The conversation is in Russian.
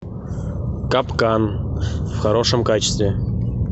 капкан в хорошем качестве